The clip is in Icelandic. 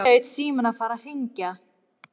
Nú hlaut síminn að fara að hringja.